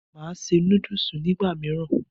Màá se núdùs nígbà mìíràn